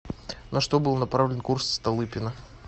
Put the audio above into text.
на что был направлен курс столыпина